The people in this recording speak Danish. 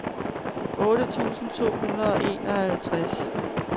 otte tusind to hundrede og enoghalvtreds